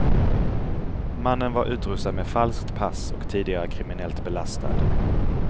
Mannen var utrustad med falskt pass och tidigare kriminellt belastad.